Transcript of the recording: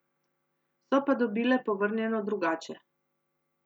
So pa dobile povrnjeno drugače.